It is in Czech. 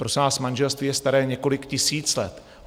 Prosím vás, manželství je staré několik tisíc let.